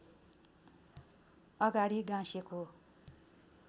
अगाडि गाँसेको